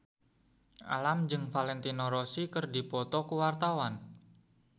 Alam jeung Valentino Rossi keur dipoto ku wartawan